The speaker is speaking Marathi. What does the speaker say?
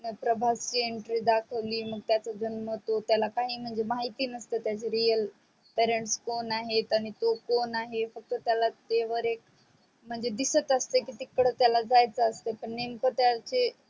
त्यांच प्रभातची entry दाखवली मग त्याचा जन्म तो त्याला काही म्हणजे माहीत नसतो त्याचे real parents कोण आहे आणि तो कोण आहे फक्त त्याला ते वर एक म्हणजे दिसत असते की तिकडे त्याला जायच असत पण नेमक त्याचे